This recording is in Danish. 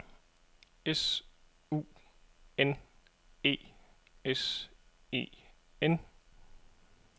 S U N E S E N